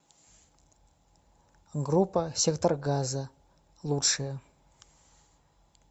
группа сектор газа лучшее